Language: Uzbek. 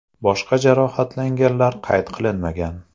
Boshqa jarohatlanganlar qayd qilinmagan.